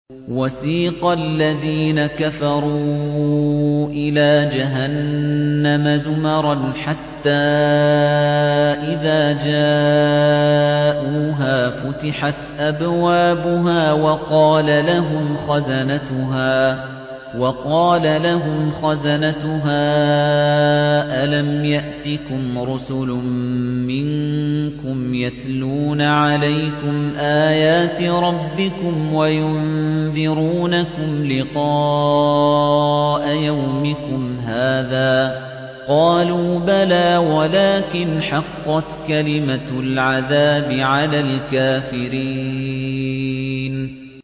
وَسِيقَ الَّذِينَ كَفَرُوا إِلَىٰ جَهَنَّمَ زُمَرًا ۖ حَتَّىٰ إِذَا جَاءُوهَا فُتِحَتْ أَبْوَابُهَا وَقَالَ لَهُمْ خَزَنَتُهَا أَلَمْ يَأْتِكُمْ رُسُلٌ مِّنكُمْ يَتْلُونَ عَلَيْكُمْ آيَاتِ رَبِّكُمْ وَيُنذِرُونَكُمْ لِقَاءَ يَوْمِكُمْ هَٰذَا ۚ قَالُوا بَلَىٰ وَلَٰكِنْ حَقَّتْ كَلِمَةُ الْعَذَابِ عَلَى الْكَافِرِينَ